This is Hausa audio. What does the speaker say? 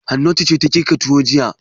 Hannatu ce ta girka tuwo jiya.